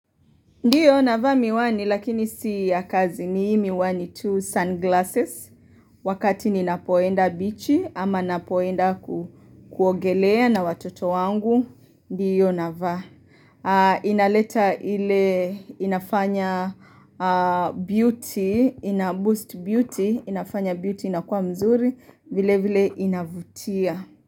Ndiyo navaa miwani lakini si ya kazi ni hii miwani tu sunglasses wakati ninapoenda bichi ama napoenda kuogelea na watoto wangu. Ndiyo navaa. Inaleta ile inafanya beauty inaboost beauty inafanya beauty inakuwa mzuri vile vile inavutia.